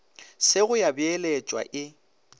se go ya beeletšwa e